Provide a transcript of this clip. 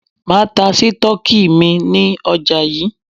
Máa ta Sítọ́ọ́kì mi ní ọjà yí.